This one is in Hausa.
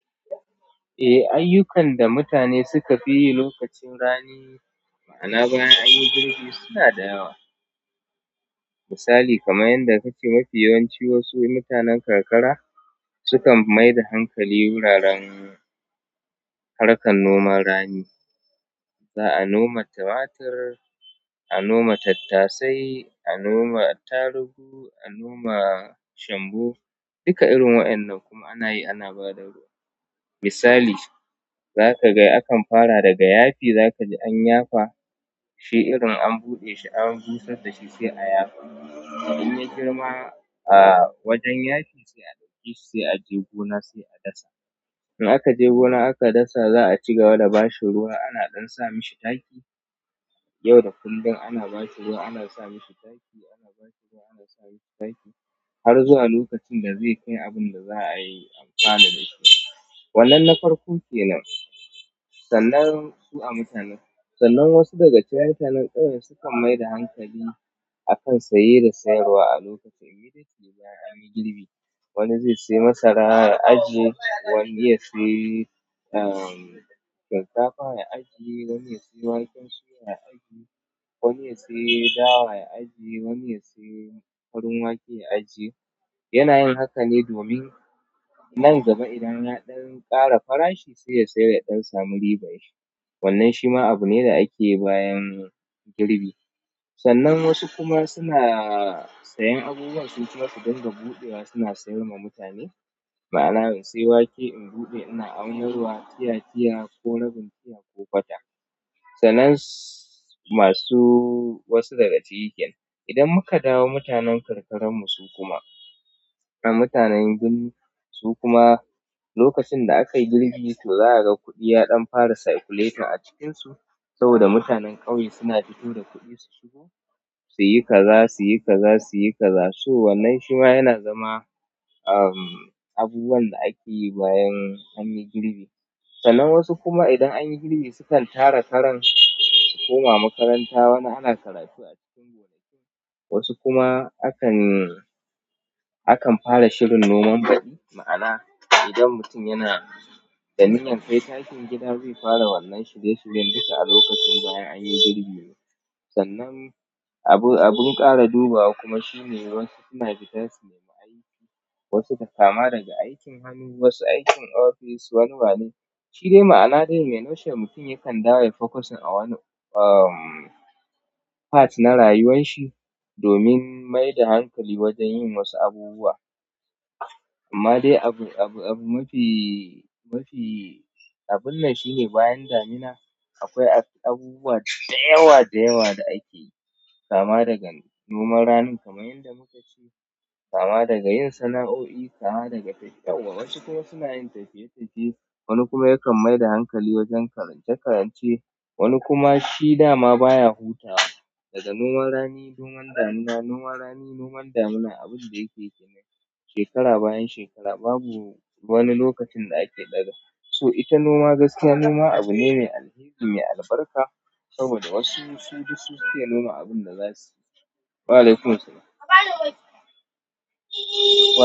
Eh, ayyukan da mutane suka fi yi lokacin rani ma'ana bayan an yi girbi suna da yawa. Misali kamar yanda kace mafi yawanci wasu mutanen karkara sukan mai da hankali wuraren harkar noman rani. Za a noma tematir a noma tattasai a noma attarugu a noma shanbo dukka irin wa'innan kuma anayi ana bada ruwa misali zaka ga akan fara daga yafi za ka ji an yafa shi irin an buɗe shi an busar da shi sai a yafa. In ya girma, a wajen yafi sai a ɗauke shi sai a je gona sai a dasa. In aka je gona aka dasa, za a cigaba da bashi ruwa. Ana ɗan sa mishi taki yau da kullum. Ana ba shi ruwa, ana sa mishi taki, ana ba shi ruwa, ana sa mishi taki har zuwa lokacin da zai kai abun da za a yi amfana da shi. Wannan na farko kenan. Sannan su a mutanen-- sannan wasu daga cikin mutanen ƙauye sukan mai da hankali a kan saye da sayarwa a lokacin "immediately" bayan an yi girbi. Wani zai saye masara ya ajje wani zai saye shinkafa ya ajje wani ya saye waken suya ya ajje wani ya saye dawa ya ajje wani ya saye farin wake ya ajje. Yana yin haka domin nan gaba idan ya ɗan ƙara farashi sai ya sayar ya ɗan samu ribai. Wannan shi ma abu ne da ake yi bayan girbi. Sannan wasu kuma suna sayen abubuwan su kuma su dinga buɗewa suna sayar wa mutane. Ma'ana in sayi wake in buɗe ina aunarwa, tiya tiya ko rabin tiya ko kwata. Sannan masu wasu daga ciki kenan idan muka dawo mutanen karkara mu suka mutanen birni su kuma lokacin da aka yi girbi to za a ga kuɗi ya ɗan fara circulating a cikinsu saboda mutanen ƙauye suna fito da kuɗi su shigo, su yi kaza, su yi kaza, su yi kaza. So wannan shi ma yana zama, uhm, abubuwan da ake yi bayan an yi girbi. Sannan wasu kuma idan an yi girbi sukan tara karan su koma makaranta wani ana karatu a cikin gonakin. Wasu kuma akan, akan fara shirin noman badi. Ma'ana idan mutum yana da niyar kai takin gida zai fara wannan shirye shiryen dukka alokacin banya anyi girbi kenan sannan abun ƙara dubawa kuma shi ne wasu suna bidan su nemi aiki wasu takama daga aikin hannu, wasu aikin ofis, wani wane. Shi dai ma'ana dai in a notshel mutum yakan dawo yai focusing a wani, uhm, part na rayuwan shi domin mai da hankali wajen yin wasu abubuwa. Amma dai abu, abu, abu mafi, mafi abun nan shine bayan damina akwai abubuwa da yawa da yawa da ake yi kama daga noman rani kamar yanda muka ce, kama daga yin sana'o'i, kama daga tafiya. Wasu kuma suna yin tafiye tafiye. Wani kuma yakan mai da hankali wajen karance karance. Wani kuma shi dama baya hutawa. Daga noman rani noman damina, noman rani, noman damina, abun da yake kenan shekara bayan shekara babu wani lokacin da ake ɗaga. So ita noma gaskiya noma abu ne mai alheri mai albarka saboda wasu sun ji su ke noma abin da za su. Wa'alaikum assalam.